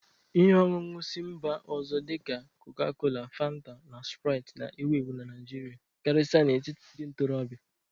Ihe ọṅụṅụ si mba ọzọ dị ka Coca-Cola, Fanta, na Sprite na-ewu ewu na Naijiria, karịsịa n'etiti ndị ntorobịa